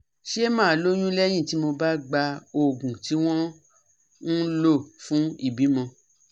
Ṣé màá lóyún lẹ́yìn tí mo bá gba oògùn tí wọ́n ń lò fún ìbímọ?